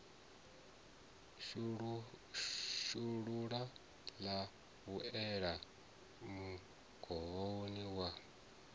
shulula ḽa vhuelela mugumoni wa